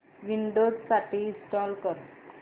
Windows साठी install कर